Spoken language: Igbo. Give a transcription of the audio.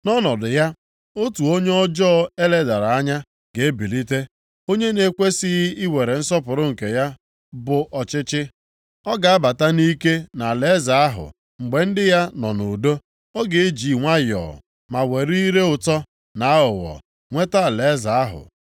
“Nʼọnọdụ ya, otu onye ọjọọ e ledara anya ga-ebilite, onye na-ekwesighị iwere nsọpụrụ nke ya bụ ọchịchị. Ọ ga-abata nʼike nʼalaeze ahụ mgbe ndị ya nọ nʼudo, ọ ga-eji nwayọọ ma were ire ụtọ na aghụghọ nweta alaeze ahụ.